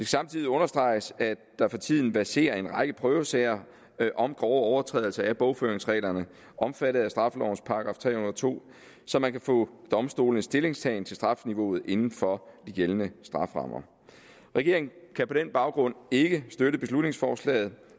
samtidig understreges at der for tiden verserer en række prøvesager om grove overtrædelser af bogføringsreglerne omfattet af straffelovens § tre hundrede og to så man kan få domstolenes stillingtagen til strafniveauet inden for de gældende strafferammer regeringen kan på den baggrund ikke støtte beslutningsforslaget